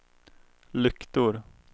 lyktor